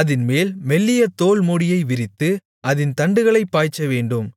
அதின்மேல் மெல்லிய தோல் மூடியை விரித்து அதின் தண்டுகளைப் பாய்ச்சவேண்டும்